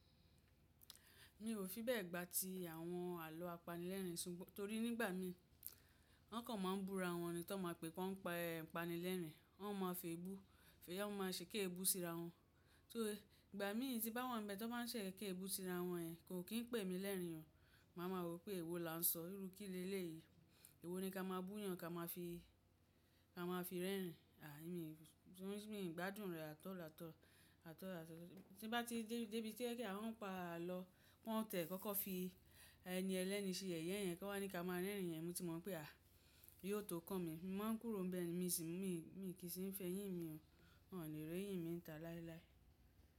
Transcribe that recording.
Mi ò fi bẹ́ẹ̀ gbà tí àwọn àlọ́ apanilẹ́rìn-ín sunmọ, torí nígbà mí wọn kàn máa ń búra wọn ni tó máa pé wọ́n ń pa ẹ́ panilẹ́rìn-ín, wọ́n máa fi èébú, fẹ̀yá máa ṣe kí èébú síra wọn. So ìgbà mí tí bá wọ́n bẹ́ẹ̀ tó máa ń ṣe ẹẹ̀kẹ́ èébú síra wọn ẹ, kò kín pè mí lẹ́ẹ̀rín o, màá ma mọ pé èwo la ń sọ, ìrú kílé lé yìí, èwo ni ká máa búyan, ká máa fi, ká máa fi rẹ́ẹ̀rín, àí mi, tí mi n gbádùn rẹ̀ atall, atall. Tin bá ti ń dẹ ibi tó jẹ́ pé wọ́n ń pa àlọ́ wọn tí ẹ kọ́kọ́ fi ẹni ẹlẹ́ni ṣe yẹ̀yẹ́ ẹ́, kí wọ́n ní ká máa rẹ́ẹ̀rín ẹ, mo ti mọ̀ pé àí yóò tó kán mi, mo máa ń kúrò bẹ́ẹ̀ ni, mi sì ń, mi, mi kì í sì ń fẹ́ yìn mi o, wọn o ní rẹ́ yìn mi ta láéláé.